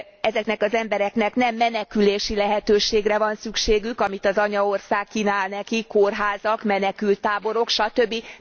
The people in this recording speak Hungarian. Ezeknek az embereknek nem menekülési lehetőségre van szükségük, amit az anyaország kínál nekik, kórházakat, menekülttáborokat, satöbbi.